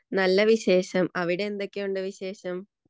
നല്ല വിശേഷം അവിടെ എന്തൊക്കെയുണ്ട് വിശേഷം